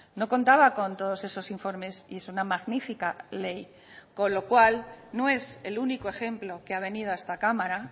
no contaba con todos esos informes y es una magnífica ley con lo cual no es el único ejemplo que ha venido a esta cámara